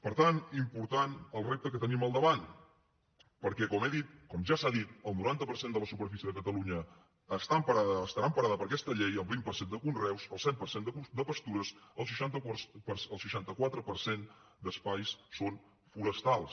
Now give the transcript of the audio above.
per tant important el repte que tenim al davant perquè com he dit com ja s’ha dit el noranta per cent de la superfície de catalunya estarà emparada per aquesta llei el vint per cent de conreus el set per cent de pastures el seixanta quatre per cent d’espais són forestals